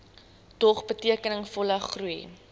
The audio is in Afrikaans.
dog betekenisvolle groei